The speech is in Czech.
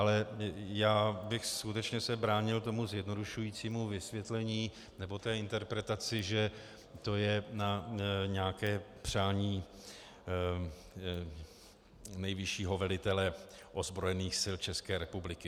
Ale já bych skutečně se bránil tomu zjednodušujícímu vysvětlení nebo té interpretaci, že to je na nějaké přání nejvyššího velitele ozbrojených sil České republiky.